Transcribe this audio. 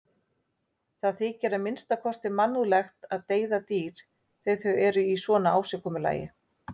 Það þykir að minnsta kosti mannúðlegt að deyða dýr þegar þau eru í svona ásigkomulagi.